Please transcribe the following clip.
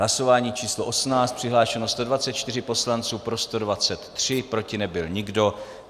Hlasování číslo 18, přihlášeno 124 poslanců, pro 123, proti nebyl nikdo.